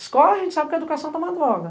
Escola, a gente sabe que a educação tá uma droga.